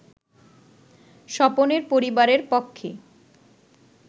স্বপনেরপরিবারের পক্ষে